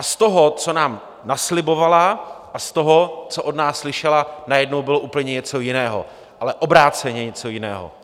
A z toho, co nám naslibovala, a z toho, co od nás slyšela, najednou bylo úplně něco jiného, ale obráceně něco jiného.